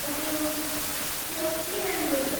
ओह, त्यो अति राम्रो हो।